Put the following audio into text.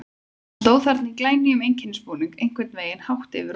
Hann stóð þarna í glænýjum einkennisbúningi, einhvern veginn hátt yfir okkur.